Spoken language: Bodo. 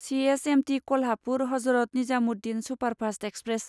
C S M T Kolhapur Hazrat Nizamuddin superfast express